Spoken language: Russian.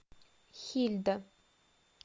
хильда